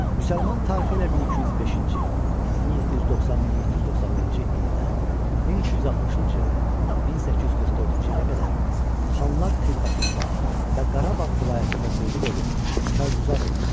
Müsəlman tarixi ilə 1205-ci, 1790-1791-ci ildən 1260-cı, 1844-cü ilə qədər xanlar xidmətində və Qarabağ vilayətində qulluq edib karğüzar olmuşam.